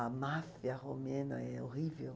A máfia romena é horrível.